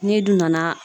N'i dun nana